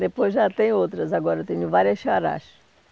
Depois já tem outras agora, eu tenho várias xarás.